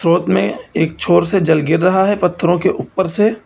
में एक छोर से जल गिर रहा है पत्थरों के ऊपर से।